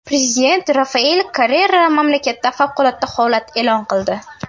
Prezident Rafael Korrea mamlakatda favqulodda holat e’lon qildi.